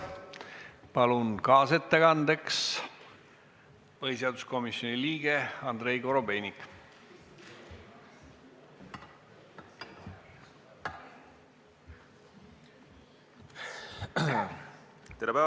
Palun kaasettekande tegemiseks kõnepulti põhiseaduskomisjoni liikme Andrei Korobeiniku.